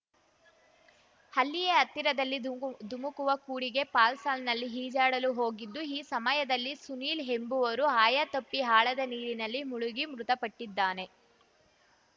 ಅಲ್ಲಿಯೇ ಹತ್ತಿರದಲ್ಲಿ ದುಮ್ಕ್ ಧುಮುಕುವ ಕೂಡಿಗೆ ಫಾಲ್ಸ್‌ನಲ್ಲಿ ಈಜಾಡಲು ಹೋಗಿದ್ದು ಈ ಸಮಯದಲ್ಲಿ ಸುನೀಲ್‌ ಎಂಬುವರು ಆಯತಪ್ಪಿ ಆಳದ ನೀರಿನಲ್ಲಿ ಮುಳುಗಿ ಮೃತಪಟ್ಟಿದ್ದಾನೆ